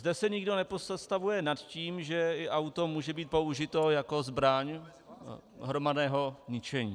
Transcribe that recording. Zde se nikdo nepozastavuje nad tím, že i auto může být použito jako zbraň hromadného ničení.